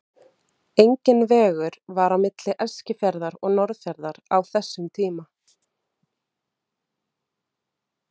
Enginn vegur var á milli Eskifjarðar og Norðfjarðar á þessum tíma.